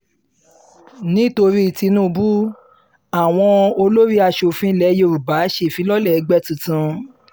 nítorí tinúbù àwọn olórí asòfin ilẹ̀ yorùbá ṣèfilọ́lẹ̀ ẹgbẹ́ tuntun